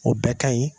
O bɛɛ ka ɲi